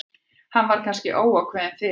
Hann var kannski óákveðinn fyrir.